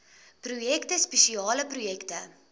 projekte spesiale projekte